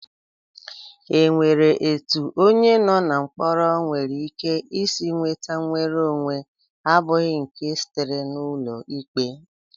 E nwere etu onye no na mkpọrọ nwereike isi nweta nnwereonwe abụghị nke sitere n'ụlọikpe?